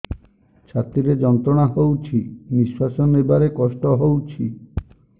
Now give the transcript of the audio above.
ଛାତି ରେ ଯନ୍ତ୍ରଣା ହଉଛି ନିଶ୍ୱାସ ନେବାରେ କଷ୍ଟ ହଉଛି